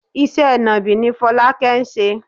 Iṣẹ́ nàbì ni Fọlákẹ́ ń ṣe.